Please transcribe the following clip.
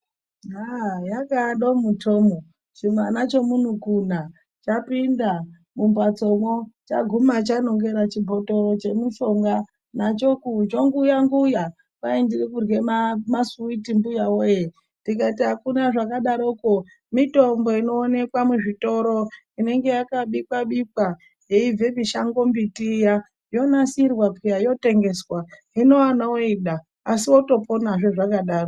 Yaah, yakawe domu -tomu, chimwana chemumukuna chapinda mumhatsomwo chaguma chanongera chibhotoro chemushonga nacho chonguya-nguya, kwai ndirikurye masiwiti mbuya woye, tikati akuna zvakadaroko, mitombo inoonekwa muzvitoro inenge yakabikwa bikwa yeibve mishango mbiti iya, yonasirwa peya yotengeswa hino ana oida asi otoponahe zvakadaro.